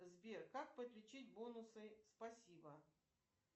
сбер как подключить бонусы спасибо